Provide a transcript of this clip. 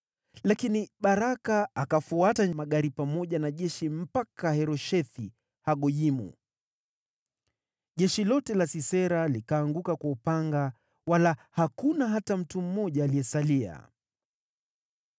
Lakini Baraka akafuata magari pamoja na jeshi mpaka Haroshethi-Hagoyimu. Jeshi lote la Sisera likaanguka kwa upanga, wala hakuna hata mtu mmoja aliyesalia.